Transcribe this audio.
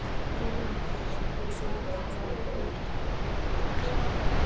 Heimir Már Pétursson: Hvað með öryrkja þá og þeirra samtök?